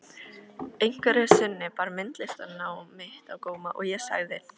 Einhverju sinni bar myndlistarnám mitt á góma og ég sagði